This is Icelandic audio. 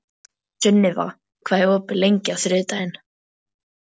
Sunniva, hvað er opið lengi á þriðjudaginn?